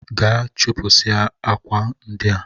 Jee chịpụsịa akwa ndị a!